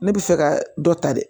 Ne bɛ fɛ ka dɔ ta dɛ